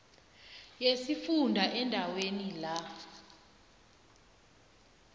yesifunda endaweni la